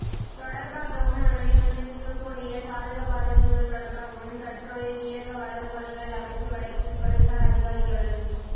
தொடர்பாகவும் அதனை முன்னெசுக்கக் கூடிய சாதக பாதகங்கள் தொடர்பாகவும் கடற்றொழில் நீரக வள மூலங்கள் அமைச்சு வடக்கின் துறைசார் அதிகாரிகளுடன்